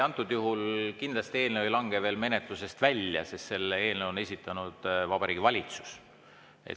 Antud juhul ei lange eelnõu kindlasti veel menetlusest välja, sest selle eelnõu on esitanud Vabariigi Valitsus.